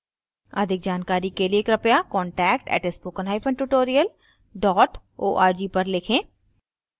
अधिक जानकारी के लिए कृपया contact @spokentutorial org पर लिखें